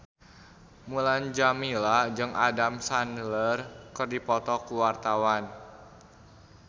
Mulan Jameela jeung Adam Sandler keur dipoto ku wartawan